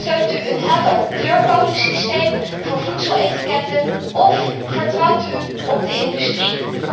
Steunt u een helder kleurcodesysteem voor voedseletiketten of vertrouwt u op de industrie?